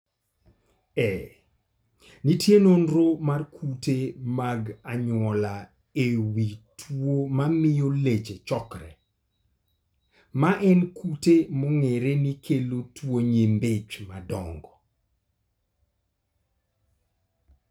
Ee, nitie nonro mar kute mag anyuola e wi tuo mamio leche chokore, ma en kute mong'ere ni kelo tuwo nyimbi ich madongo.